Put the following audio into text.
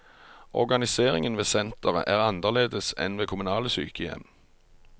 Organiseringen ved senteret er annerledes enn ved kommunale sykehjem.